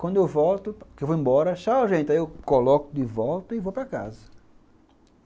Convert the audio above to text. Quando eu volto, porque eu vou embora, tchau gente, aí eu coloco de volta e vou para casa.